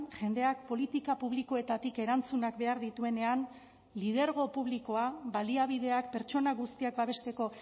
jendeak politika publikoetatik erantzunak behar dituenean lidergo publikoa baliabideak pertsona guztiak babesteko